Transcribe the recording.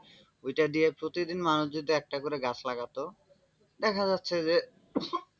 ওইটা দিয়ে প্রতিদিন মানুষ যদি একটা করে গাছ লাগাত দেখা যাচ্ছে যে,